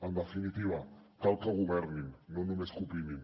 en definitiva cal que governin no només que opinin